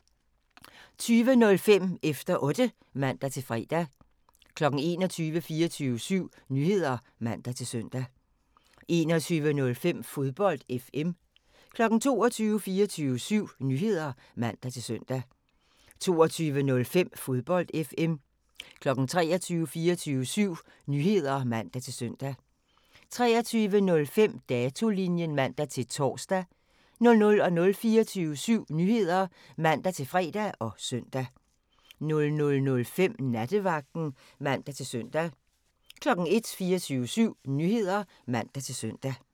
20:05: Efter Otte (man-fre) 21:00: 24syv Nyheder (man-søn) 21:05: Fodbold FM 22:00: 24syv Nyheder (man-søn) 22:05: Fodbold FM 23:00: 24syv Nyheder (man-søn) 23:05: Datolinjen (man-tor) 00:00: 24syv Nyheder (man-fre og søn) 00:05: Nattevagten (man-søn) 01:00: 24syv Nyheder (man-søn)